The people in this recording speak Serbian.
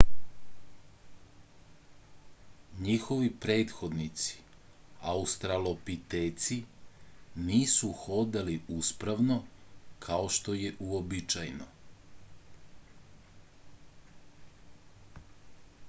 njihovi prethodnici australopiteci nisu hodali uspravno kao što je uobičajeno